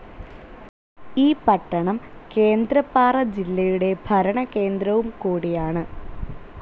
ഈ പട്ടണം കേന്ദ്രപ്പാറ ജില്ലയുടെ ഭരണകേന്ദ്രവും കൂടിയാണ്.